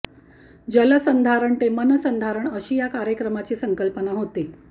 जल संधारण ते मन संधारण अशी या कार्यक्रमाची संकल्पना होती